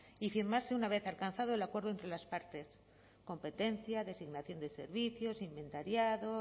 y firmarse una vez alcanzado el acuerdo entre las partes competencia designación de servicios inventariado